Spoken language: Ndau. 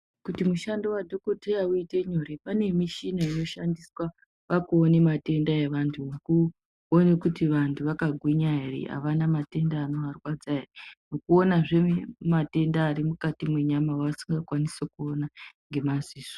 Kuti mushando wa dhokoteya uite nyore kune pane mishina ino shandiswa pakuone matenda e vantu kuone kuti vantu vaka gwinya avana matenda anova rwadza ere ngekuona zve matenda ari mukati me nyama vasinga kwanisi kuona ngema dziso.